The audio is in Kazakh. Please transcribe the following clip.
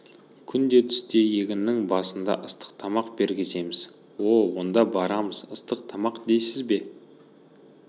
күнде түсте егіннің басыңда ыстық тамақ бергіземіз о-о онда барамыз ыстық тамақ дейсіз бе